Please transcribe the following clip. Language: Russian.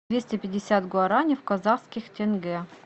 двести пятьдесят гуарани в казахских тенге